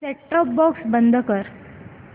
set top box बंद कर